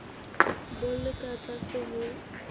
bo le ka tlase ho